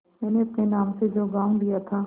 मैंने अपने नाम से जो गॉँव लिया था